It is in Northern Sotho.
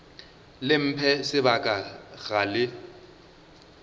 le mphe sebaka ga le